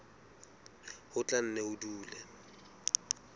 ho tla nne ho dule